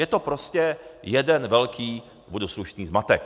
Je to prostě jeden velký, budu slušný, zmatek.